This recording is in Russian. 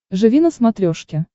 живи на смотрешке